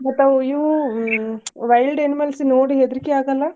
ಮತ್ತ್ ಅವ್ ಇವ್ wild animals ನೋಡಿದ್ರ್ ಹೆದ್ರಿಕಿ ಆಗಲ್ಲಾ?